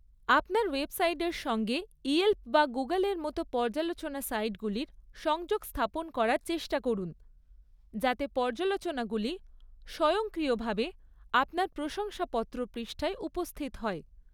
আপনার ওয়েবসাইটের সঙ্গে ইয়েল্প বা গুগলের মতো পর্যালোচনা সাইটগুলির সংযোগ স্থাপন করার চেষ্টা করুন যাতে পর্যালোচনাগুলি স্বয়ংক্রিয়ভাবে আপনার প্রশংসাপত্র পৃষ্ঠায় উপস্থিত হয়৷